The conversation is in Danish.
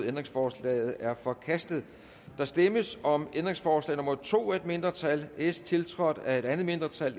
ændringsforslaget er forkastet der stemmes om ændringsforslag nummer to af et mindretal tiltrådt af et andet mindretal